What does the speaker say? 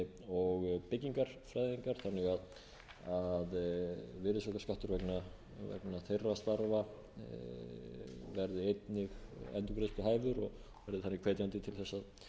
þannig að virðisaukaskattur vegna þeirra starfa verði einnig endurgreiðsluhæfur og verði þannig hvetjandi til þess að